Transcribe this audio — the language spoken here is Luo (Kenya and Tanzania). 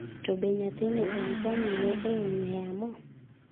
To be ,nyathini en jang'iye e ong'wee yamo?